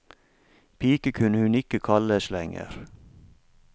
Pike kunne hun ikke kalles lenger.